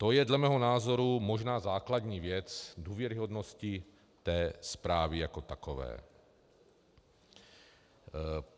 To je dle mého názoru možná základní věc důvěryhodnosti té zprávy jako takové.